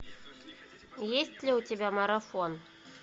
есть ли у тебя марафон